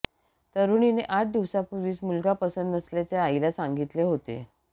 तरुणीने आठ दिवसांपूर्वीच मुलगा पंसत नसल्याचे आईला सांगितले होते